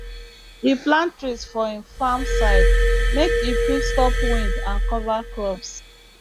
him plant trees for him farm side make e fit stop wind and cover crops